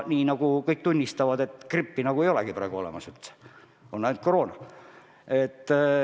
Nii nagu kõik tunnistavad, grippi nagu ei olegi enam üldse olemas, on ainult koroona.